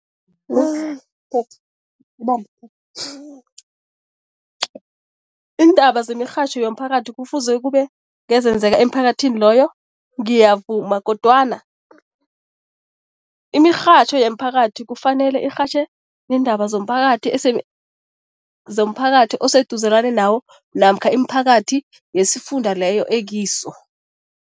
iindaba zemirhatjho yomphakathi kufuze kube ngezenzeka emphakathini loyo? Ngiyavuma kodwana imirhatjho yemphakathi kufanele irhatjhe iindaba zomphakathi zomphakathi oseduzelane nawo namkha imiphakathi yesifunda leyo ekiso.